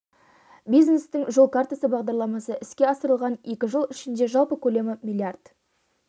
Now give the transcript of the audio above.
бизнестің жол картасы бағдарламасы іске асырылған екі жыл ішінде жалпы көлемі млрд